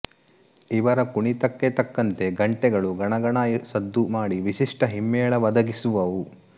ಇವರ ಕುಣಿತಕ್ಕೆ ತಕ್ಕಂತೆ ಘಂಟೆಗಳು ಗಣಗಣ ಸದ್ದು ಮಾಡಿ ವಿಶಿಷ್ಠ ಹಿಮ್ಮೇಳ ಒದಗಿಸುವವು